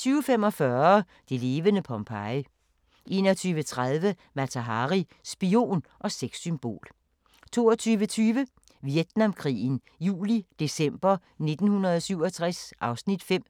20:45: Det levende Pompeji 21:30: Mata Hari – spion og sexsymbol 22:20: Vietnamkrigen juli-december 1967 (Afs. 5)